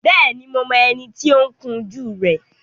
Bẹ́ẹ̀ni, mo mọ ẹni tí ó ń kun jú rẹ